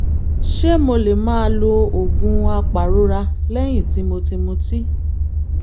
ṣé mo lè máa lo oògùn apàrora lẹ́yìn tí mo ti mutí?